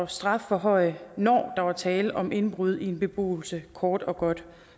strafforhøje når der var tale om indbrud i en beboelse kort og godt